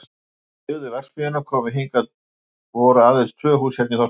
Þegar þeir sem byggðu verksmiðjuna komu hingað voru aðeins tvö hús hérna í þorpinu.